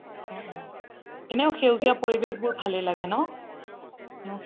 অহ অহ সেউজীয়া পৰিৱেশ বোৰ ভালে লাগে ন